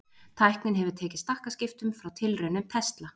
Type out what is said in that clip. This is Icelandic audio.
Tæknin hefur tekið stakkaskiptum frá tilraunum Tesla.